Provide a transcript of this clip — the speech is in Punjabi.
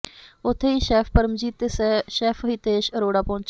ਉੱਥੇ ਹੀ ਸ਼ੈੱਫ ਪਰਮਜੀਤ ਤੇ ਸ਼ੈੱਫ ਹਿਤੇਸ਼ ਅਰੋੜਾ ਪਹੁੰਚੇ